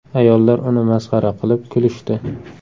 Ayollar uni masxara qilib, kulishdi.